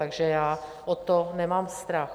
Takže já o to nemám strach.